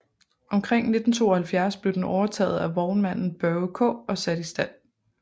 Omkring 1972 blev den overtaget af vognmanden Børge Kaa og sat i stand